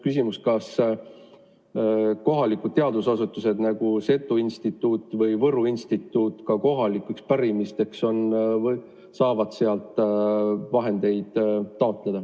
Näiteks kas kohalikud teadusasutused nagu Seto Instituut ja Võru Instituut saavad sealt ka kohaliku pärimuse uurimiseks raha taotleda?